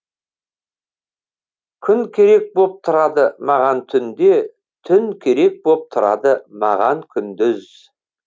күн керек боп тұрады маған түнде түн керек боп тұрады маған күндіз